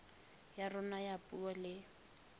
ya rona ya puo le